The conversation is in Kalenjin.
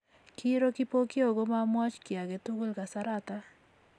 Kiiro Kipokeo komomwoch kiy age tugul kasarata